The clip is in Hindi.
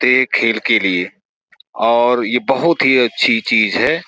ते खेल के लिए और ये बहुत ही अच्छी चीज़ है।